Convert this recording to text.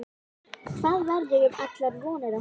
Hvað verður um allar vonir okkar?